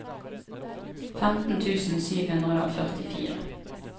femten tusen sju hundre og førtifire